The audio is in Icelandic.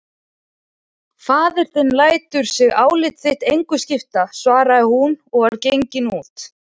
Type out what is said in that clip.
Faðir þinn lætur sig álit þitt engu skipta, svaraði hún og var gengin út.